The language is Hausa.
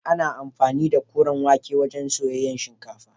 Ana amfani da koren wake don soyayyen shinkafa